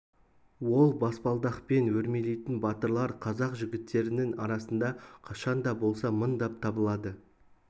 ол баспалдақпен өрмелейтін батырлар қазақ жігіттерінің арасында қашан да болса мыңдап табылады